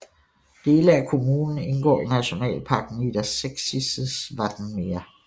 Dele af kommunen indgår i Nationalpark Niedersächsisches Wattenmeer